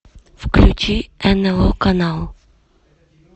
включи нло канал